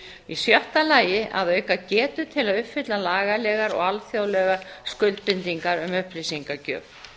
í sjötta lagi að auka getu til að uppfylla lagalegar og alþjóðlegar skuldbindingar um upplýsingagjöf